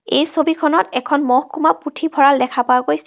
এই ছবিখনত এখন মহকুমা পুথভঁৰাল দেখা পোৱা গৈছে.